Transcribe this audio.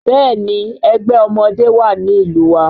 Bẹ́ẹ̀ni ẹgbẹ́ ọmọdé wà ní ìlú wa